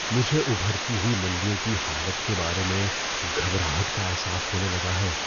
مجھے ابھرتی ہوئی منڈیوں کی حالت کے بارے میں گھبراہٹ کا احساس ہونے لگا ہے۔